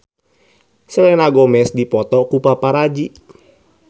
Selena Gomez dipoto ku paparazi